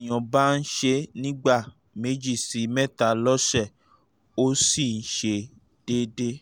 bí èèyàn bbá ń ṣe é ní ìgbà méjì sí mẹ́ta lọ́sẹ̀ ó sì ṣe déédé